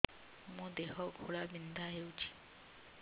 ମୋ ଦେହ ଘୋଳାବିନ୍ଧା ହେଉଛି